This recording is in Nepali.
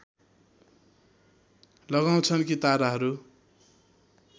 लगाउँछन् कि ताराहरू